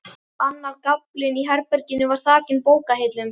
Annar gaflinn í herberginu var þakinn bókahillum.